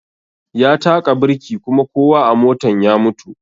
Ya taƙa birki kuma kowa a motan ya mutu